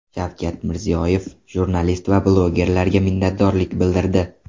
Shavkat Mirziyoyev jurnalist va blogerlarga minnatdorlik bildirdi.